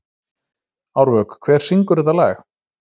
Árvök, hver syngur þetta lag?